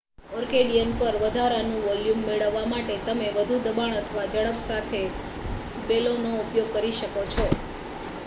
accordion પર વધારાનું volume મેળવવા માટે, તમે વધુ દબાણ અથવા ઝડપ સાથે બેલોનો ઉપયોગ કરો શકો છો